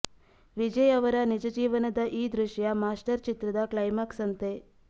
ವಿಜಯ್ ಅವರ ನಿಜ ಜೀವನದ ಈ ದೃಶ್ಯ ಮಾಸ್ಟರ್ ಚಿತ್ರದ ಕ್ಲೈಮ್ಯಾಕ್ಸ್ ಅಂತೆ